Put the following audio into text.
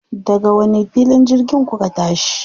Daga wani filin jirgin kuka tashi?